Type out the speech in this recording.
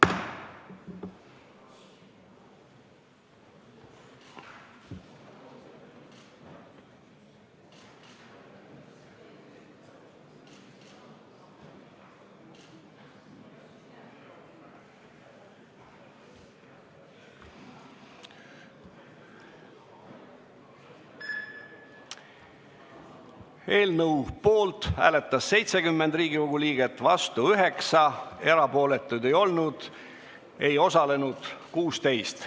Hääletustulemused Eelnõu poolt hääletas 70 Riigikogu liiget, vastu 9, erapooletuid ei olnud, ei osalenud 16.